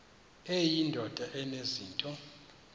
eyi ndoda enezinto